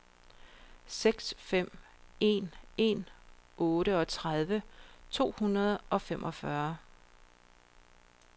seks fem en en otteogtredive to hundrede og femogfyrre